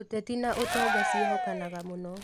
Ũteti na ũtonga ciehokanaga mũno.